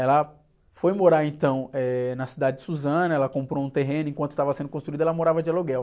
Ela foi morar então, eh, na cidade de Suzano, ela comprou um terreno, e enquanto estava sendo construída ela morava de aluguel.